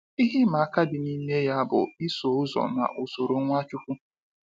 Ihe ịma aka dị n'ime ya bụ iso ụzọ na usoro Nwachukwu.